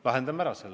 Lahendame selle ära.